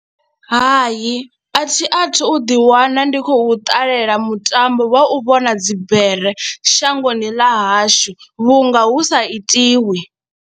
Hai, a thi a thu ḓiwana ndi khou ṱalela mutambo wa u vhona dzibere shangoni ḽa hashu vhunga hu sa itiwi.